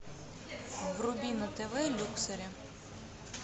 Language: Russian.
вруби на тв люксори